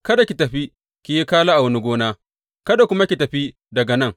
Kada ki tafi ki yi kala a wani gona, kada kuma ki tafi daga nan.